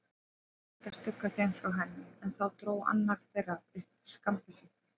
Ég reyndi að stugga þeim frá henni, en þá dró annar þeirra upp skammbyssu.